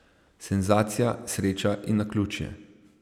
Senzacija, sreča in naključje?